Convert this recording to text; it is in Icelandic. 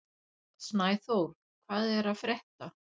Snæþór, hvað er að frétta?